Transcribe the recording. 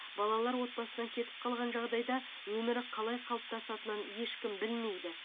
балалар отбасынан кетіп қалған жағдайда өмірі қалай қалыптасатынын ешкім білмейді